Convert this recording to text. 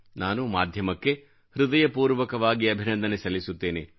ನಾನು ಮಾಧ್ಯಮಕ್ಕೆ ಹೃದಯಪೂರ್ವಕವಾಗಿ ಅಭಿನಂದನೆ ಸಲ್ಲಿಸುತ್ತೇನೆ